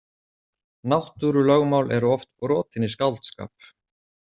Náttúrulögmál eru oft brotin í skáldskap.